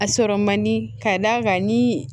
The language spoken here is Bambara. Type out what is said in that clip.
A sɔrɔ man di k'a d'a kan ni